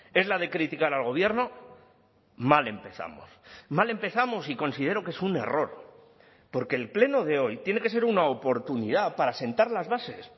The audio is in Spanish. es la de criticar al gobierno mal empezamos mal empezamos y considero que es un error porque el pleno de hoy tiene que ser una oportunidad para sentar las bases